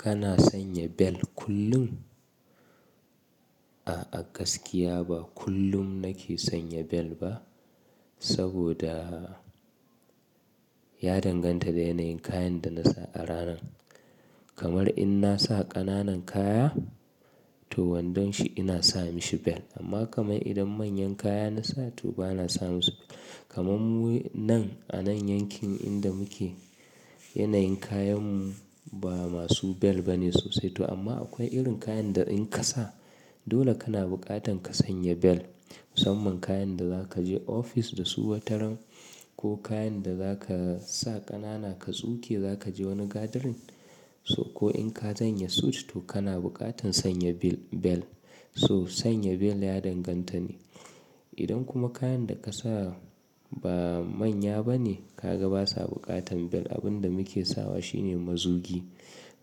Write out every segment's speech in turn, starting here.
Kana sanya bel kullum? A'a gaskiya ba kullum nake sanya bel ba saboda ya danganta da yanayin kayan da na sa a ranan. Kamar in na sa ƙananan kaya to wandon shi ina sa mashi bel amma kamar idan manyan kaya na sa to ba na sa musu bel. Kamar mu nan a nan yankin inda muke yanayin kayanmu ba masu bel ba ne sosai to amma akwai irin kayan da in ka sa dole kana buƙatan ka sanya bel. Musamman kayan da za ka je ofis da su wataran ko kayan da za ka sa ƙanana ka tsuke za ka je wani gathering so ko in ka sanya suit to kana buƙatan sanya bil bel. So sanya bel ya danganta ne. Idan kuma kayan da ka sa ba manya ba ne kaga basa buƙatan bel abin da muke sawa shi ne mazugi.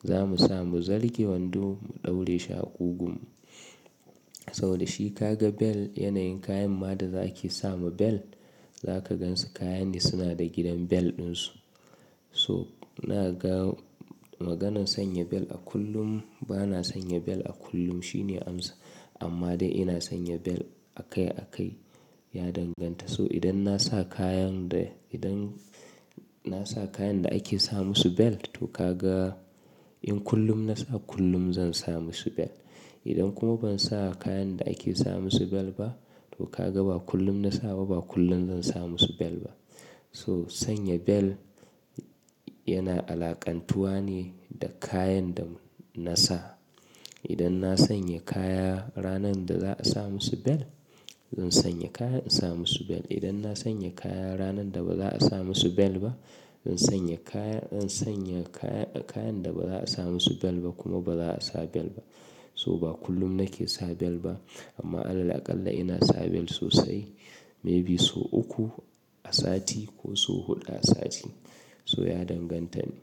Za mu sa mu zarge wando mu ɗaure shi a ƙugu. Saboda shi ka ga bel yanayin kayan ma da za a ke sa ma bel za ka gan su kayan ne suna da gidan bel ɗin su. So inaga maganan sanya bel a kullum ba na sanya bel a kullum shi ne amsa. Amma dai ina sanya bel a kai a kai ya danganta. So idan na sa kayan da idan na sa kayan da ake sa musu bel to ka ga in kullum na sa kullum zan sa musu bel. Idan kuma ban sa kayan da ake sa musu bel ba to ka ga ba kullum na sa ba kullum zan sa musu bel ba. To sanya bel yana alaƙantuwa ne da kayan da na sa. Idan na sanya kaya ranan da za a sa musu bel zan sanya kaya in sa musu bel. Idan na sanya kaya ranan da ba za a sa musu bel ba zan sanya kaya zan sanya kayan da ba za a sa musu bel ba kuma ba za a sa bel ba. So ba kullum nake sa bel ba amma Alal alƙala ina sa bel sosai maybe so uku a sati ko so huɗu a sati. So ya danganta ne.